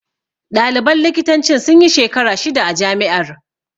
Ɗaliban likitancin sunyi shekara shida a jami'ar